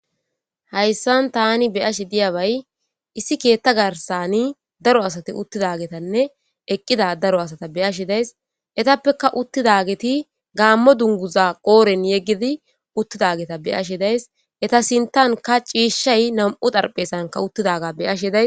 Hayssan tani beyashi diyabay issi keetta garsani daro asati uttidagetanne eqqida daro asata beyashe days etappeka uttidageti gaammo dunguza qooren yeggidi uttidageta beyashe days eta sintanka ciishay nam'u darpheesanka uttidaga beyashe days.